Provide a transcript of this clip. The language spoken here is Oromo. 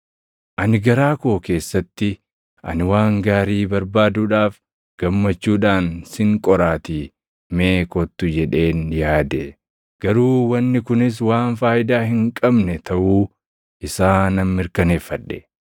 Ani garaa koo keessatti, “Ani waan gaarii barbaaduudhaaf gammachuudhaan sin qoraatii mee kottu” jedheen yaade. Garuu wanni kunis waan faayidaa hin qabne taʼuu isaa nan mirkaneeffadhe.